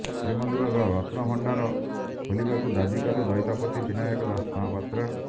ଶ୍ରୀମନ୍ଦିରର ରତ୍ନ ଭଣ୍ଡାର ଖୋଲିବାକୁ ଦାବି କଲେ ଦଇତାପତି ବିନାୟକ ଦାସମହାପାତ୍ର